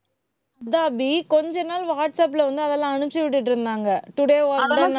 அதான் அபி கொஞ்ச நாள் வாட்ஸ்அப்ல வந்து அதெல்லாம் அனுப்பிச்சு விட்டுட்டு இருந்தாங்க. today work done அப்~